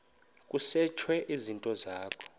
kusetshwe izinto zakho